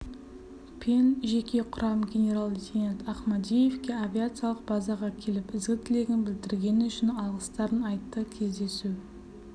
пен жеке құрам генерал-лейтенант ахмадиевке авиациялық базаға келіп ізгі тілегін білдіргені үшін алғыстарын айтты кездесу